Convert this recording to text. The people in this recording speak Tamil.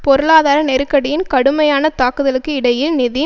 பொருளாதார நெருக்கடியின் கடுமையான தாக்குதலுக்கு இடையில் நிதி